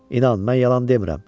İnan, mən yalan demirəm.